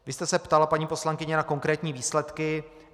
Vy jste se ptala, paní poslankyně, na konkrétní výsledky.